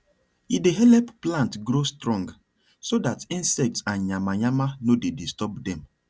e dey help plant grow strong so that insects and yama yama no dey disturb dem